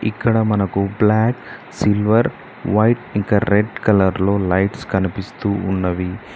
ఇక్కడ మనకు black silver white ఇంక రెడ్ కలర్ లో లైట్స్ కనిపిస్తూ ఉన్నవి.